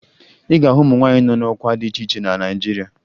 Ị ga-ahụ ụmụ nwaanyị nọ n'ọkwa dị iche iche na Naịjirịa